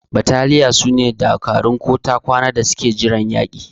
Battaliya sune dakarun ko ta kwana da suke jiran yaki.